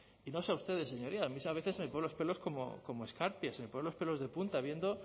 y no sé a ustedes señorías a mí a veces se ponen los pelos como escarpias se me ponen los pelos de punta viendo